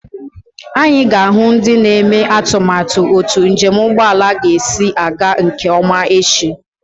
Anyị ga-ahụ ndị na-eme atụmatụ otu njem ụgbọelu ga-esi aga nke ọma echi.